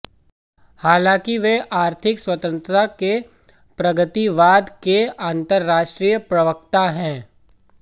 हालांकि वे आर्थिक स्वतंत्रता के प्रगतिवाद के अंतर्राष्ट्रीय प्रवक्ता हैं